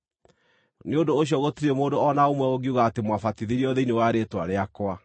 Nĩ ũndũ ũcio gũtirĩ mũndũ o na ũmwe ũngiuga atĩ mwabatithirio thĩinĩ wa rĩĩtwa rĩakwa.